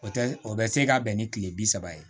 O tɛ o bɛ se ka bɛn ni tile bi saba ye